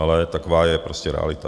Ale taková je prostě realita.